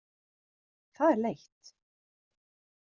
Það er leitt.